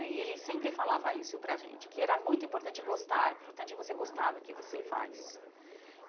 E ele sempre falava isso para a gente, que era muito importante gostar, é importante você gostar do que você faz. Olha que legal